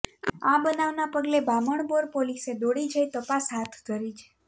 આ બનાવના પગલે બામણબોર પોલીસે દોડી જઈ તપાસ હાથ ધરી છે